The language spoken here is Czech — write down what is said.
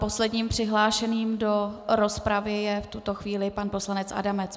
Posledním přihlášeným do rozpravy je v tuto chvíli pan poslanec Adamec.